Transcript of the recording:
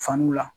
Fanuw la